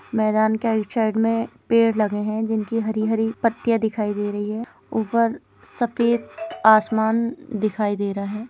मैदान के outside मे पेड़ लगे है जिनकी हरी हरी पत्तीया दिखाई दे रही है ऊपर सफेद आसमान दिखाई दे रहा है।